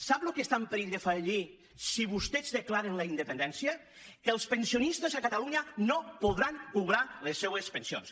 sap el que està en perill de fallir si vostès declaren la independència que els pensionistes a catalunya no podran cobrar les seues pensions